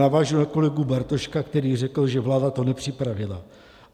Navážu na kolegu Bartoška, který řekl, že vláda to nepřipravila.